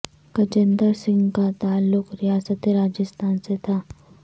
گجیندر سنگھ کا تعلق ریاست راجھستان سے تھا